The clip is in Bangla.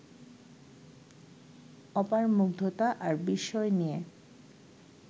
অপার মুগ্ধতা আর বিস্ময় নিয়ে